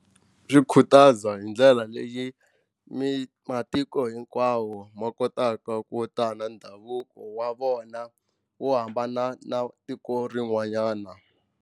Swi khutaza hi ndlela leyi matiko hinkwawo ma kotaka ku ta na ndhavuko wa vona wo hambana na tiko rin'wanyana.